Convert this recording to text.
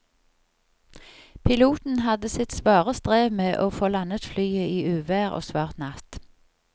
Piloten hadde sitt svare strev med å få landet flyet i uvær og svart natt.